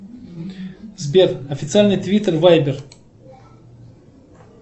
сбер официальный твиттер вайбер